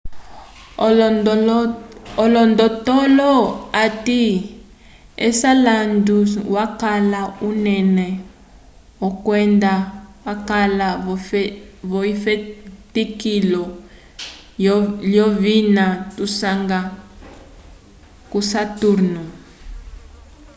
olondotolo ati enceladus wakala unene kwenda wakala vo efetikilo lyovina tusanga k'osaturnu